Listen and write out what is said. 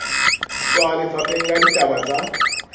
tswa lefapheng la ditaba tsa